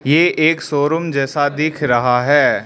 ये एक शोरूम जैसा दिख रहा है।